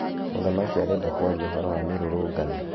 Mũthamakĩ arenda kwarĩa ũhoro wa mĩrũrũngano